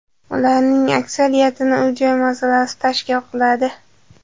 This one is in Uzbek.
Ularning aksariyatini uy-joy masalasi tashkil qiladi.